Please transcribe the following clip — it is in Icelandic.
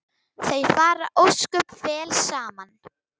Þau fara ósköp vel saman